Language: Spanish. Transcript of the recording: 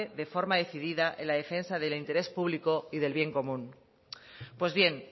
de forma decidida en la defensa del interés público y del bien común pues bien